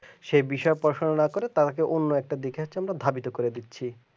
এই বিষয়ে পড়াশোনা না করে তাকে অন্য একটা দিকের জন্য ভাবিত করে দিচ্ছে